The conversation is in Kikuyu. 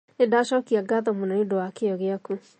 Nĩndacokia ngatho mũno nĩũndũwa kĩyo gĩaku